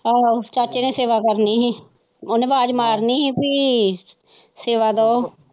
ਆਹੋ ਚਾਚੇ ਨੇ ਸੇਵਾ ਕਰਨੀ ਸੀ ਉਹਨੇ ਆਵਾਜ਼ ਮਾਰਨੀ ਸੀ ਕੀ ਸੇਵਾ ਲੋ.